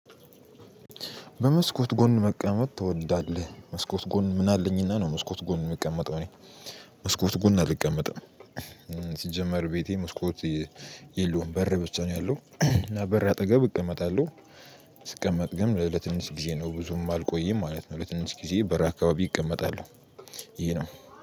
በመስኮት ጎን መቀመጥ ትወዳለህ? መስኮት ጎን ምን አለኝና ነው መስኮት ጎን የምቀመጠው እኔ። መስኮት ጎን አልቀመጥም። ሲጀመር ቤቴ መስኮት የለውም በር ብቻ ነው ያለው እና በር አጠገብ እቀመጣለሁ። ስቀመጥ ግን ለትንሽ ጊዜ ነው ብዙም አልቆየም ማለት ነው ለትንሽ ጊዜ በር አካባቢ እቀመጣለሁ። ይሄ ነው